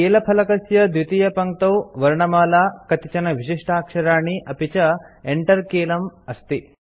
कीलफलकस्य द्वितीयपङ्क्तौ वर्णमाला कतिचन विशिष्टाक्षराणि अपि च Enter कीलम् अस्ति